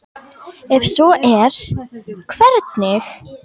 Ef svo er, hvernig?